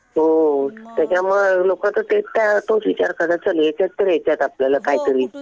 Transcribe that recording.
हो त्याच्यामुळं लोकं तर तोच विचार करतात. चल याच्यात तर येताल आपल्याला काहीतरी.